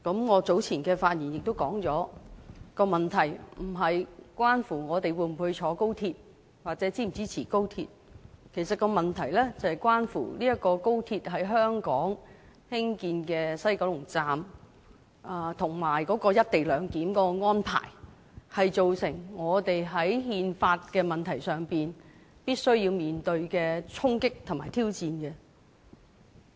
我早前的發言亦指出了問題不是關乎我們會否乘坐高鐵或是否支持高鐵，問題是關乎這條高鐵在香港西九龍站"一地兩檢"的安排，造成我們在憲法的問題上必須面對衝擊和挑戰。